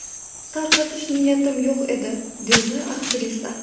Tarqatish niyatim yo‘q edi”, deydi aktrisa.